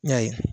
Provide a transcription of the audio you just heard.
N y'a ye